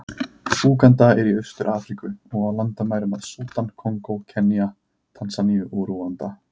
Úganda er í Austur-Afríku, og á landamæri að Súdan, Kongó, Kenía, Tansaníu og Rúanda.